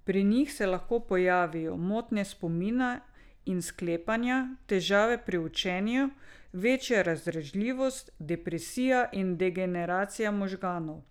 Pri njih se lahko pojavijo motnje spomina in sklepanja, težave pri učenju, večja razdražljivost, depresija in degeneracija možganov.